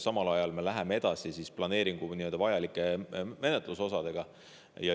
Samal ajal me läheme edasi planeeringu vajalike menetlusosadega.